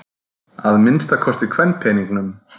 Að minnsta kosti kvenpeningnum.